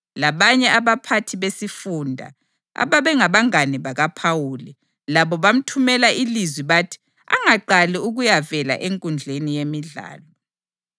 Labanye abaphathi besifunda, ababengabangane bakaPhawuli, labo bamthumela ilizwi bathi angaqali ukuyavela enkundleni yemidlalo.